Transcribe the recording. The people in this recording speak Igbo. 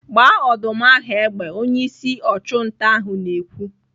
"Gbaa ọdụm ahụ egbe!' Onyeisi ọchụnta ahụ na-ekwu.